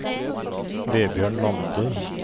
Vebjørn Lande